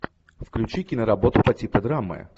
включи киноработу по типу драмы